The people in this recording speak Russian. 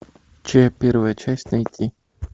че первая часть найти